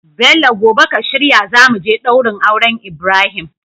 Bello gobe ka shirya zamuje daurin auren Ibrahim